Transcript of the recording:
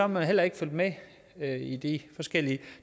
man heller ikke fulgt med med i de forskellige